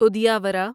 ادیاورا